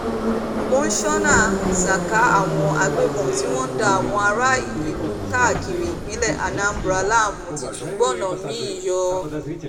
monsónà saka àwọn agbébọ́n tí wọ́n ń da àwọn aráàlú káàkiri ìpínlẹ̀ anambra láàmú ti tún gbóná mi-ín yọ